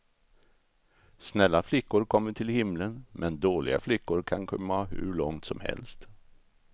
Snälla flickor kommer till himlen, men dåliga flickor kan komma hur långt som helst.